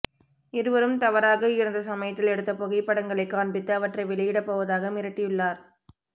இருவரும் தவறாக இருந்த சமயத்தில் எடுத்த புகைப்படங்களை காண்பித்து அவற்றை வெளியிடப் போவதாக மிரட்டியுள்ளார்